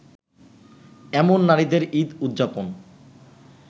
এমন নারীদের ঈদ উদযাপন